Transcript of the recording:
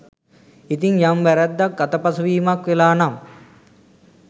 ඉතින් යම් වැරැද්දක් අතපසුවීමක් වෙලා නම්